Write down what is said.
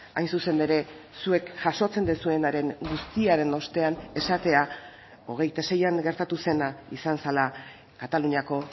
hain zuzen ere zuek jasotzen duzuenaren guztiaren ostean esatea hogeita seian gertatu zena izan zela kataluniako